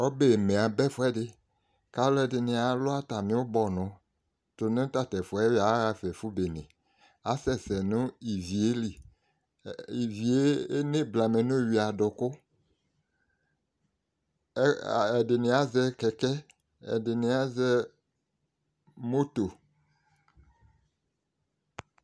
Ɔbɛme aba ɛfʋɛdɩ k'alʋɛdɩnɩ alʋ atamɩ ʋbɔnʋ tʋ nʋ tatʋ ɛfu ɣɛ yɔ aɣafa ɛfʋ bene Asɛsɛ nʋ ivi yɛ li Ivi yɛ eneblamɛ n'omeyui adʋkʋ, ɛdɩnɩ azɛ kɛkɛ, ɛdɩnɩ azɛ moto